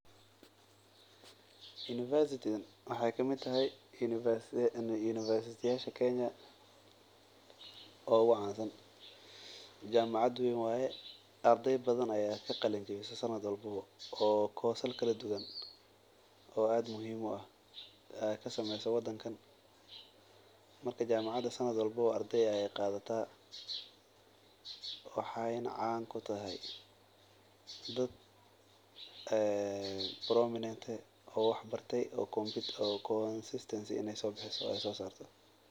Jamacadan waxaay kamid tahay kuwa kenya oogu cansan ardey badan ayaa ka qalin jabisa oo ka sameysa sanad walbo ardey ayeey qaadataa waxeey caan ku tahay dad wax barte inaay soo saarto.